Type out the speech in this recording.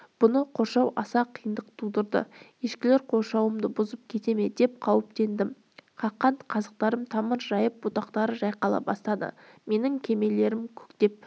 бұны қоршау аса қиындық тудырды ешкілер қоршауымды бұзып кете ме деп қауіптендім қаққан қазықтарым тамыр жайып бұтақтары жайқала бастады менің кермелерім көктеп